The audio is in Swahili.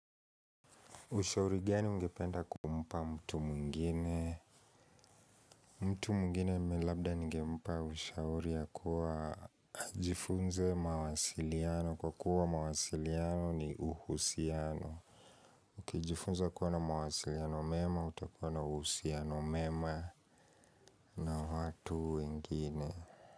Ushauri gani ungependa kumpa mtu mwingine? Mtu mwingine labda ningempa ushauri ya kuwa jifunze mawasiliano. Kwa kuwa mawasiliano ni uhusiano. Ukijifunza kuwa na mawasiliano mema, utakua na uhusiano mema na watu wengine.